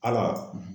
Ala